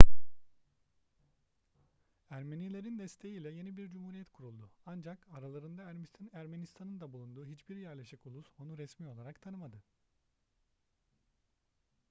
ermenilerin desteği ile yeni bir cumhuriyet kuruldu ancak aralarında ermistan'ın da bulunduğu hiçbir yerleşik ulus onu resmi olarak tanımadı